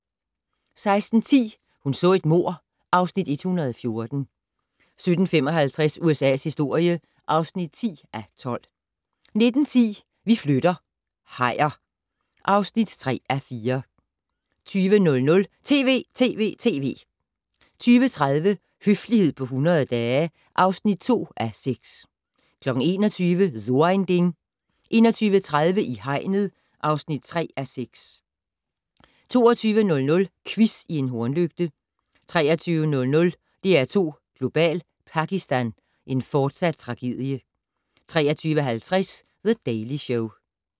16:10: Hun så et mord (Afs. 114) 17:55: USA's historie (10:12) 19:10: Vi flytter - hajer (3:4) 20:00: TV!TV!TV! 20:30: Høflighed på 100 dage (2:6) 21:00: So ein Ding 21:30: I hegnet (3:6) 22:00: Quiz i en hornlygte 23:00: DR2 Global: Pakistan - en fortsat tragedie 23:50: The Daily Show